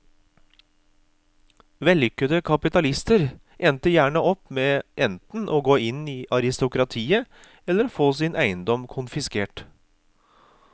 Vellykkete kapitalister endte gjerne opp med enten å gå inn i aristokratiet eller å få sin eiendom konfiskert.